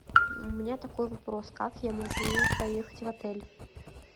у меня такой вопрос как я могу проехать в отель